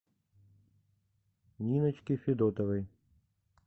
ниночке федотовой